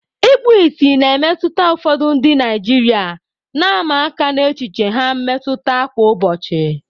Ikpu ìsì na-emetụta ụfọdụ ndị Naijiria, na-ama aka n'echiche ha mmetụta kwa ụbọchị.